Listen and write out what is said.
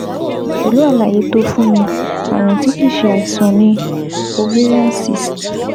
Pẹ̀lú àlàyé tó o fún mi, ààrùn tí kìí ṣe àìsàn ni ovarian cyst